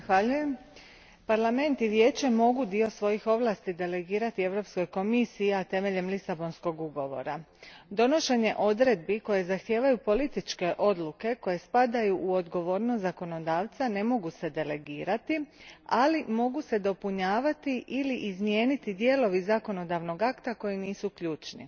Gospođo predsjedavajuća, Parlament i Vijeće mogu dio svojih ovlasti delegirati Europskoj komisiji temeljem Lisabonskog ugovora. Donošenje odredbi koje zahtijevaju političke odluke koje spadaju u odgovornost zakonodavca ne mogu se delegirati, ali se mogu dopunjavati ili izmijeniti dijelovi zakonodavnog akta koji nisu ključni.